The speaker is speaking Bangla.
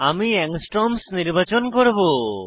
আমি অ্যাংস্ট্রমস নির্বাচন করব